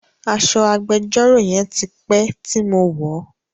Aṣọ agbẹjọ́rò yẹn ti pé tí mo wọ̀ọ́.